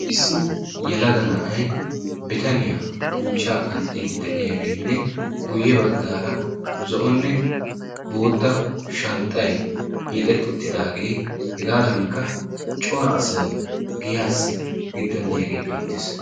Issi yelaga na'ay bitaniya buuchchaa qanxxiide de'iyaagenne guyye baggara zo'onne bootta shanxxay hiixetti uttidaaggenne hegaankka cora asay giyyassi giduwan diyaage beettees.